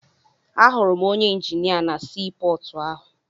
Ahụrụ m onye injinia na sii pọọtụ ahụ.